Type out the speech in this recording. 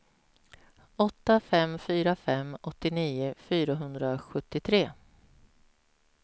åtta fem fyra fem åttionio fyrahundrasjuttiotre